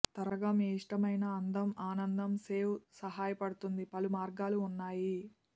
త్వరగా మీ ఇష్టమైన అందం ఆనందం సేవ్ సహాయపడుతుంది పలు మార్గాలు ఉన్నాయి